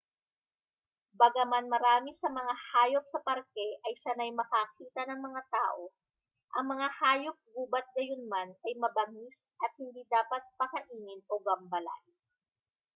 bagaman marami sa mga hayop sa parke ay sanay makakita ng mga tao ang mga hayop-gubat gayunman ay mabangis at hindi dapat pakainin o gambalain